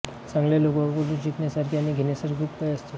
चांगल्या लोकांकडून शिकण्यासारखे आणि घेण्यासारखे खूप काही असते